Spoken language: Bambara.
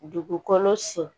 Dugukolo sen